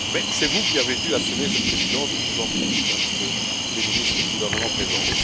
Mais c'est vous qui avez dû assumer cette Présidence, et je vous en félicite ainsi que tous les ministres du gouvernement présent.